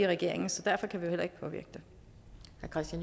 regering så derfor kan vi